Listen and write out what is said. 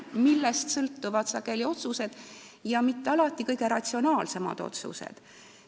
Just sellest sõltuvad sageli otsused ja mitte alati kõige ratsionaalsemad otsused.